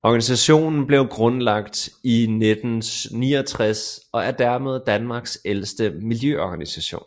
Organisationen blev grundlagt i 1969 og er dermed Danmarks ældste miljøorganisation